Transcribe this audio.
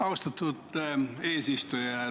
Austatud eesistuja!